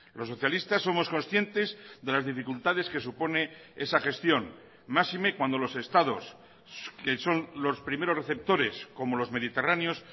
los socialistas somos conscientes de las dificultades que supone esa gestión máxime cuando los estados que son los primeros receptores como los mediterráneos